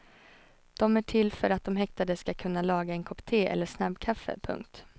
De är till för att de häktade ska kunna laga en kopp te eller snabbkaffe. punkt